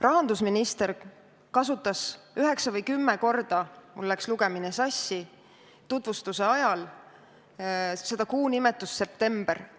Rahandusminister kasutas üheksa või kümme korda – mul läks lugemine sassi – tutvustuse ajal kuu nimetust "september".